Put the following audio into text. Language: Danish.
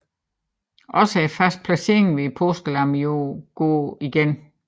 Også fadets placering med påskelammet går igen